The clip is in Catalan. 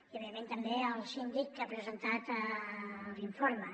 i òbviament també al síndic que ha presentat l’informe